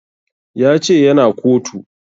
Ya ce ya na kotu